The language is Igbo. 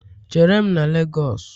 Chere m na Lagosu!